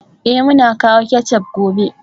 Eh, muna kawo ketchup gobe